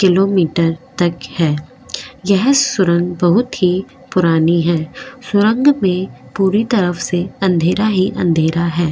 Kilometre तक है यह सुरंग बहुत ही पुरानी है सुरंग में पूरी तरफ से अंधेरा ही अंधेरा है।